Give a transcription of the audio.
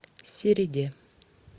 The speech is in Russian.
середе